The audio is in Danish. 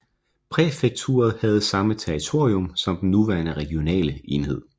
Præfekturet havde samme territorium som den nuværende regionale enhed